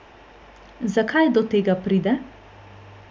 Zakaj do tega pride?